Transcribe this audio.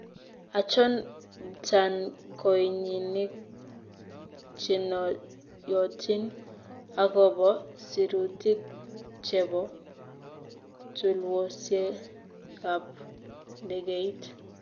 Achon btaankooyiinik chenoyotin agoboo siruutik chepo tulwosiekap ndegeiit